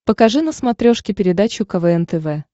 покажи на смотрешке передачу квн тв